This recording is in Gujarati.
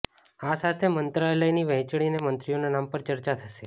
આ સાથે જ મંત્રાલયની વહેંચણી અને મંત્રીઓના નામ પર ચર્ચા થશે